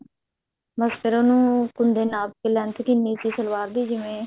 ਬਸ ਫ਼ੇਰ ਉਹਨੂੰ ਕੁੰਡੇ ਨੂੰ ਨਾਪ ਕਿ length ਕਿੰਨੀ ਸੀ ਸਲਵਾਰ ਦੀ ਜਿਵੇਂ